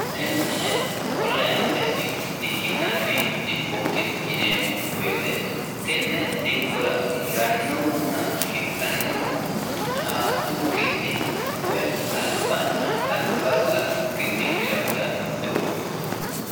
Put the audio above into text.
Tene onlinetenni dikki'nanni dikkoti yineemmo woyte tene dikkora hidhanonna hiranohu xaadotenni woyi albana alba laukkinni hirantano doogoti.